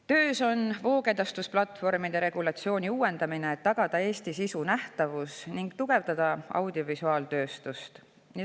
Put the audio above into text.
Töös on voogedastusplatvormide regulatsiooni uuendamine, et tagada Eestis sisu nähtavus ning tugevdada audiovisuaaltööstust.